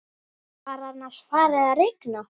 Var annars farið að rigna?